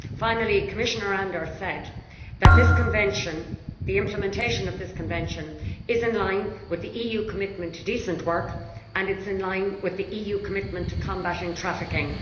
Finally, Commissioner Andor said that the implementation of this Convention is in line with the EU commitment to decent work and it is in line with the EU commitment to combating trafficking.